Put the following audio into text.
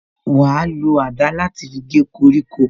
Wa lo àdá láti fi gé koríko